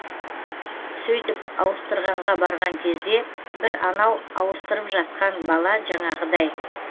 сөйтіп ауыстырғанға барған кезде бір анау ауыстырып жатқан бала жаңағындай